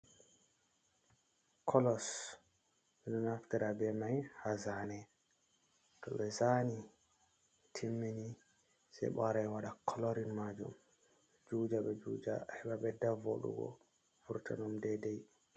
Kolos beɗo naftira be mai ha zane. To be zani timmini. Sai be wara be waɗa kolorin majum. Be juja be juja heba beɗɗa voɗugo furtanum ɗeiɗai.